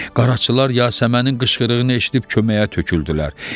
Qaraçılar Yasəmənin qışqırığını eşidib köməyə töküldülər.